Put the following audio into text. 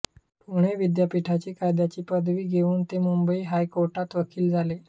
पुणे विद्यापीठाची कायद्याची पदवी घेऊन ते मुंबई हायकोर्टात वकील झाले